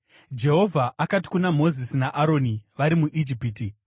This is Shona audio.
Jehovha akati kuna Mozisi naAroni vari muIjipiti,